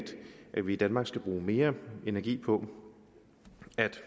at vi i danmark skal bruge mere energi på at